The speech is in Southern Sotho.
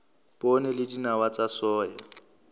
poone le dinawa tsa soya